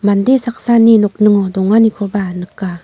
mande saksani nokningo donganikoba nika.